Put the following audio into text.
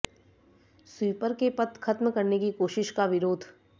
sweeper के पद खत्म करने की कोशिश का विरोध